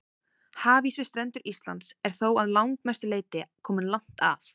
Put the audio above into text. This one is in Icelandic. Hafís við strendur Íslands er þó að langmestu leyti kominn langt að.